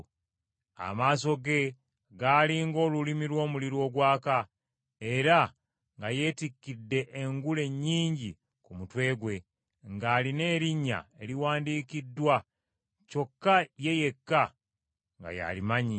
Amaaso ge gaali ng’olulimi lw’omuliro ogwaka, era nga yeetikkidde engule nnyingi ku mutwe gwe, ng’alina erinnya eriwandiikiddwa, kyokka ye yekka nga y’alimanyi.